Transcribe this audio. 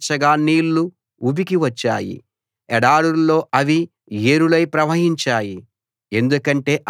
శిలను చీల్చగా నీళ్లు ఉబికి వచ్చాయి ఎడారుల్లో అవి ఏరులై ప్రవహించాయి